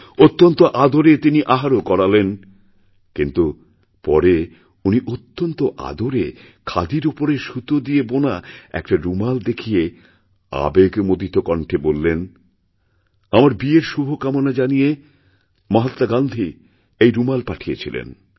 অত্যন্ত আদরে তিনিআহারও করালেন কিন্তু পরে উনি অত্যন্ত আদরে খাদির উপরে সুতো দিয়ে বোনা একটা রুমালদেখিয়ে আবেগমথিত কণ্ঠে বললেন আমার বিয়ের শুভকামনা জানিয়ে মহাত্মা গান্ধী এই রুমালপাঠিয়েছিলেন